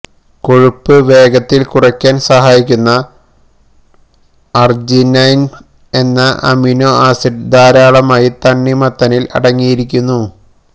കൊഴുപ്പ് വേഗത്തില് കുറയ്ക്കാന് സഹായിക്കുന്ന അര്ജിനൈന് എന്ന അമിനോ ആസിഡ് ധാരാളമായി തണ്ണിമത്തനില് അടങ്ങിയിരിക്കുന്നു